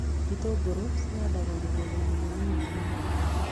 Itũngũrũ cihandagwo mĩgũnda-inĩ mĩnini na mĩnene